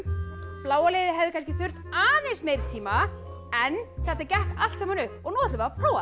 bláa liðið hefði kannski þurft aðeins meiri tíma en þetta gekk allt saman upp og nú ætlum við að prófa